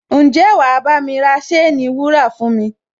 Ǹjẹ́ wà á bámi ra ṣéènì wúrà fún mi?